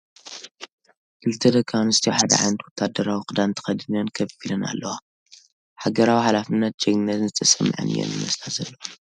ክልተ ደቒ ኣነስትዮ ሓደ ዓይነት ወታሃደራዊ ክዳን ተኸዲነን ከፍ ኢለን ኣለዋ ፡ ሓገራዊ ሓላፍነትን ጀግንነትን ዝተሰመዓን እየን ዝመስላ ዘለዋ ።